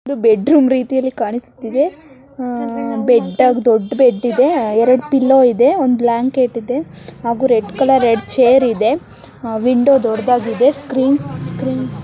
ಇದು bed room ಕಾಣಸುತ್ತಿದೆ ಅಹ್ ಬೆಡ್ ಆಗಿ ದೊಡ್ಡ ಬೆಡ್ ಇದೆ ಯಾರೆಡು ಪಿಲ್ಲೋ ಇದೆ ಒಂದ ಬ್ಲಾಂಕೆಟ್ ಇದೆ ಹಾಗು ರೆಡ್ ಕಲರ್ ಚೇರ್ ಇದೆ ವಿಂಡೋ ದೋಡದಗೇರುವ ಸ್ಕ್ರೀನ್ಸ್ --.